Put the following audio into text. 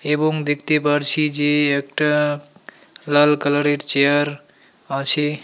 এবং দেখতে পারছি যে একটা লাল কালার এর চেয়ার আছে।